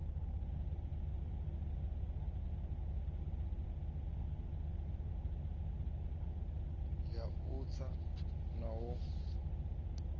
ya u tsa na u